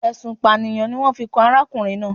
Ẹ̀sùn Ìpànìyàn ni wọn yóò fi kan arákùnrin náà